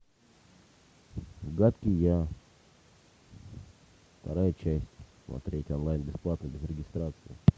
гадкий я вторая часть смотреть онлайн бесплатно без регистрации